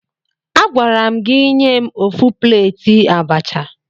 Agwara m gị nye m ofu pleeti abacha!